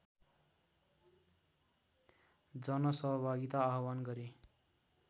जनसहभागिता आव्हान गरे